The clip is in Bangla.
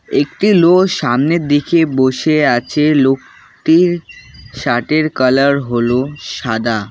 একটি লো সামনের দিকে বসে আছে লোকটির শার্ট এর কালার হল সাদা।